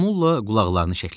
Momulla qulaqlarını şəklədi.